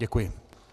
Děkuji.